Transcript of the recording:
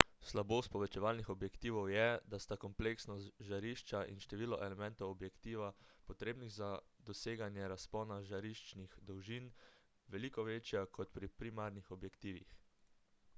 slabost povečevalnih objektivov je da sta kompleksnost žarišča in število elementov objektiva potrebnih za doseganje razpona žariščnih dolžin veliko večja kot pri primarnih objektivih